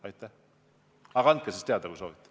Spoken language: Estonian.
Nii et andke siis teada, kui te seda soovite.